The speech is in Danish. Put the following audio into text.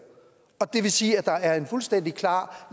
det vil sige at der er en fuldstændig klar